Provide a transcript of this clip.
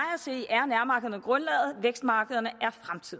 at se er nærmarkederne grundlaget vækstmarkederne